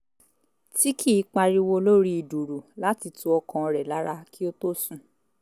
tí kì í pariwo lórí dùùrù láti tu ọkàn rẹ̀ lára kí ó tó sùn